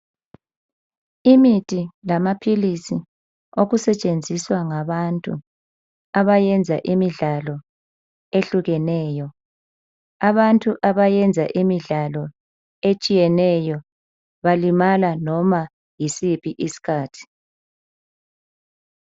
Imithi lamaphilisi okusetshenziswa ngabantu abayenza imidlalo ehlukeneyo. Abantu abayenza imidlalo etshiyeneyo balimala noma yisiphi isikhathi.